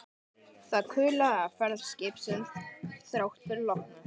Það kulaði af ferð skipsins þrátt fyrir lognið.